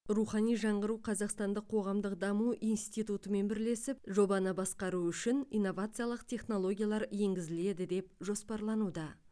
рухани жаңғыру қазақстандық қоғамдық даму институтымен бірлесіп жобаны басқару үшін инновациялық технологиялар енгізіледі деп жоспарлануда